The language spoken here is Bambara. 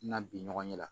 Na bi ɲɔgɔn ɲɛ la